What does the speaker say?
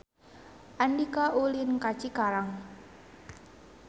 Andika ulin ka Cikarang